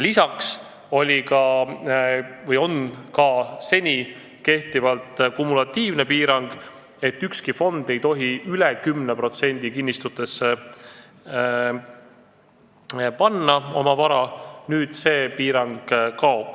Lisaks on siiani kehtinud kumulatiivne piirang, et ükski fond ei tohi üle 10% oma varast kinnistutesse panna, nüüd see piirang kaob.